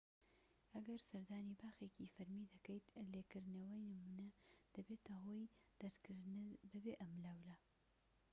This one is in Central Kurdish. ئەگەر سەردانی باخێکی فەرمی دەکەیت لێکردنەوەی نمونە دەبێتە هۆی دەرکردنت بەبێ ئەملاولا